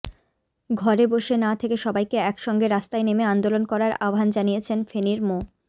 ঘরে বসে না থেকে সবাইকে একসঙ্গে রাস্তায় নেমে আন্দোলন করার আহ্বান জানিয়েছেন ফেনীর মো